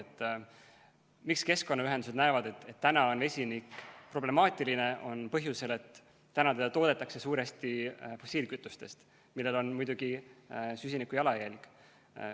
Põhjus, miks keskkonnaühendused näevad, et vesinik on problemaatiline, on see, et seda toodetakse suuresti fossiilkütustest, millel on muidugi süsiniku jalajälg.